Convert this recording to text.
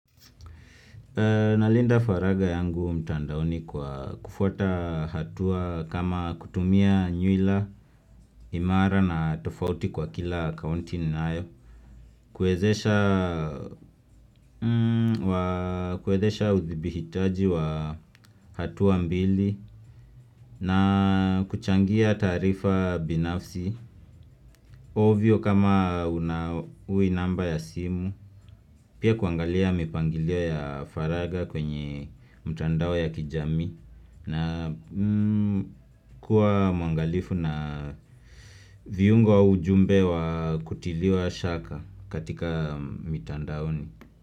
Nalinda faraga yangu mtandaoni kwa kufuata hatua kama kutumia nyuila, imara na tofauti kwa kila akaunti ninayo. Kuwezesha uthibitaji wa hatua mbili na kuchangia tarifa binafsi. Ovyo kama unawi namba ya simu. Pia kuangalia mipangilio ya faraga kwenye mtandao ya kijami. Na kuwa mwangalifu na viungo wa ujumbe wa kutiliwa shaka katika mitandaoni.